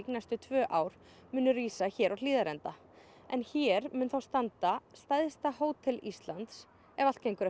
næstu tvö ár munu rísa hér á Hlíðarenda en hér mun þá standa stærsta hótel Íslands ef allt gengur